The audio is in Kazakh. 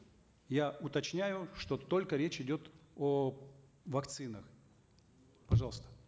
я уточняю что только речь идет о вакцинах пожалуйста